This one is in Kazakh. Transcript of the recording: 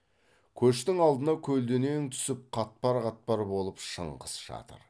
көштің алдына көлденең түсіп қатпар қатпар болып шыңғыс жатыр